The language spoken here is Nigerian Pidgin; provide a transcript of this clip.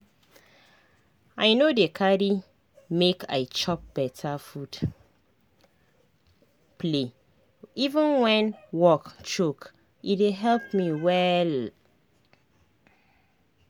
i no dey carry make i chop beta food play even when work choke e dey help me wella